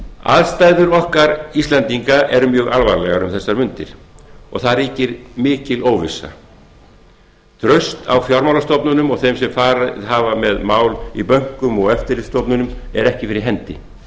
aðstæður okkar íslendinga eru mjög alvarlegar um þessar mundir og mikil óvissa ríkir traust á fjármálastofnunum og þeim sem farið hafa með mál í bönkum og eftirlitsstofnunum er ekki fyrir hendi